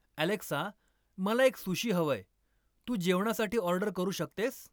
Alexa मला एक sushi हवंय, तू जेवणासाठी ऑर्डर करू शकतेस?